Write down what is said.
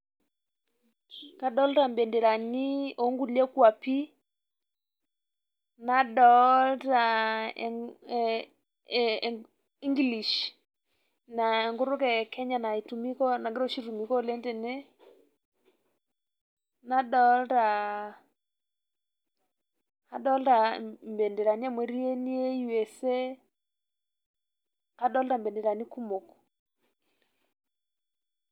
kadoolta ibenderani oo nkulie kuapi, nadoolta english aa enkutuk e kenya oshi naitumika, oleng tene, nadoolta, adoolta ibenderani amu etii ene USA.adoolta benderani kumok.